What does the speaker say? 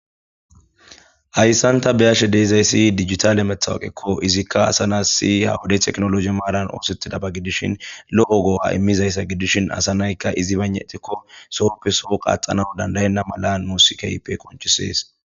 hayssanta beyashe deezayssi digitale methawoqekko izikka asanas si hawodey teknologi maaran oosettida ba gidishin lo7o goo7a immizayssa gidishin asa naykka izi banetikko soopfeso qaxana dandayenna mala nusikaype konchisees